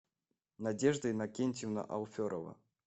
надежда иннокентьевна алферова